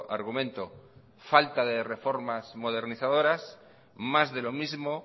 argumento falta de reformas modernizadoras más de lo mismo